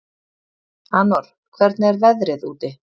Anor, hvernig er veðrið úti?